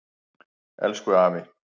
Elku afi.